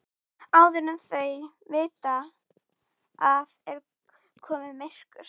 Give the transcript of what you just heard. Það var með hangandi innsigli föður hans.